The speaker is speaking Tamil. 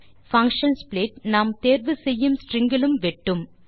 பங்ஷன் ஸ்ப்ளிட் நாம் தேர்வு செய்யும் ஸ்ட்ரிங் இலும் வெட்டும்